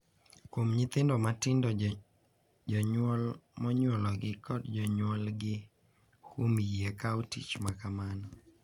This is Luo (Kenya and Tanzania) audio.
Kuom nyithindo matindo, jonyuol monyuologi kod jonyuolgi kuom yie kawo tich ma kamano,